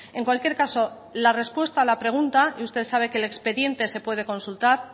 en cualquier caso la respuesta a la pregunta y usted sabe que el expediente se puede consultar